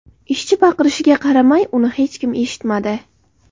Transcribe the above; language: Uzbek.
Ishchi baqirishiga qaramay, uni hech kim eshitmadi.